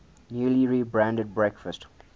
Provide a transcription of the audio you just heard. newly rebranded breakfast